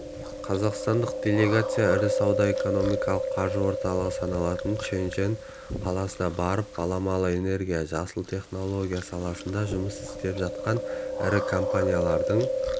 қазақстандық делегация ірі сауда экономикалық қаржы орталығы саналатын шэньчжэнь қаласына барып баламалы энергия жасыл теінология саласында жұмыс істеп жатқан ірі компаниялардың